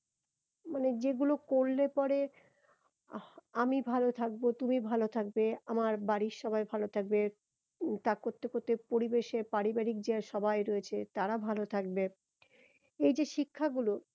মানে যেগুলো করলে পরে আহ আমি ভালো থাকবো তুমি ভালো থাকবে আমার বাড়ির সবাই ভালো থাকবে তা করতে করতে পরিবেশে পারিবারিক যে সবাই রয়েছে তারা ভালো থাকবে এই যে শিক্ষাগুলো